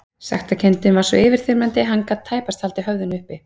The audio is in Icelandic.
Sektarkenndin var svo yfirþyrmandi að hann gat tæpast haldið höfðinu uppi.